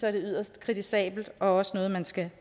er yderst kritisabelt og også noget man skal